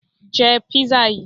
Je pizza yìí